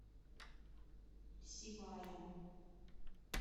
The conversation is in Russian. сибая